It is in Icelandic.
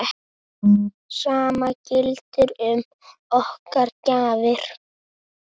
Sama gildir um okkar gjafir.